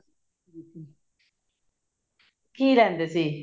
ਕੀ ਲੇਂਦੇ ਸੀ